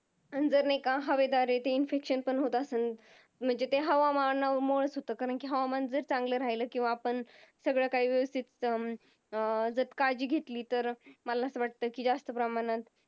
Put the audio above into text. अन जर नाही का हवेद्वारे ते Infection पण होत असत म्हणजे ते हवामान माळचं होत कारण ते हवामान जर चांगला राहिला किव्हा आपण सगळं काहीं व्यवस्तीत अं काळजी घेतली तर मला आसा वाटत कि जास्त प्रमाणात